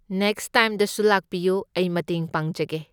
Next ꯇꯥꯏꯝꯗꯁꯨ ꯂꯥꯛꯄꯤꯌꯨ, ꯑꯩ ꯃꯇꯦꯡ ꯄꯥꯡꯖꯒꯦ꯫